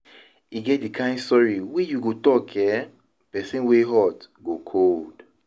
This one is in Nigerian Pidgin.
E get di kain sori wey yu go tok eh, pesin wey hot go cold